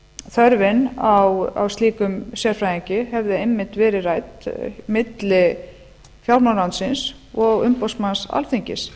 þörfin á slíkum sérfræðingi hefði einmitt verið rædd milli fjármálaráðuentyisins og umboðsmanns alþingis